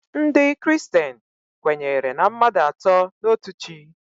Ndị kristen kwenyere na mmadụ atọ n'otu Chi.